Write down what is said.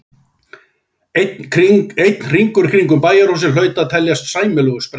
Einn hringur kringum bæjarhúsin hlaut að teljast sæmilegur sprettur.